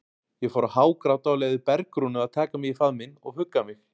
Ég fór að hágráta og leyfði Bergrúnu að taka mig í faðminn og hugga mig.